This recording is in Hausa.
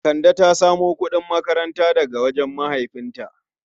Kande ta samu kudin makaranta daga wajen mahaifinta.